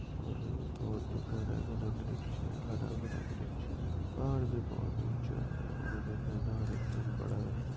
और बहुत घना-घना वृक्ष हैं हरा-भरा वृक्ष हैं और भी बहुत ऊचा हैं और मैदान एकदम बड़ा हैं।